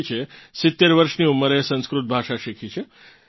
નિકિચે 70 વર્ષની ઉંમરે સંસ્કૃત ભાષા શીખી છે